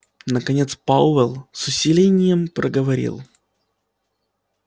наконец пауэлл с усилением проговорил